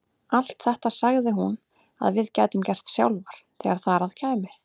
Allt þetta sagði hún að við gætum gert sjálfar þegar þar að kæmi.